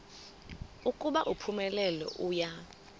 ukuba uphumelele uya